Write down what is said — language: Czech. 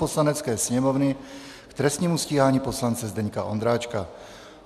Poslanecké sněmovny k trestnímu stíhání poslance Zdeňka Ondráčka